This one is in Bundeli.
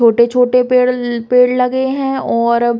छोटे-छोटे पेड़ ल पेड़ लगे हैं और --